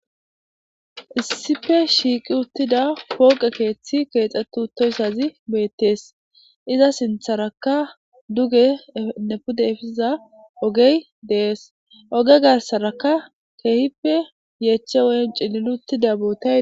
Issife shiiqi uttida kooqe keeththi keexxetu utoysazi beettees iza sintharaka duge nepudefisiza ogey dees oge garsaraka keehippe yeeche woyn cilil uttida bootay